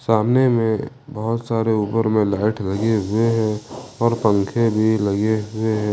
सामने में बहोत सारे ऊपर में लाइट लगे हुए हैं और पंखे भी लगे हुए हैं।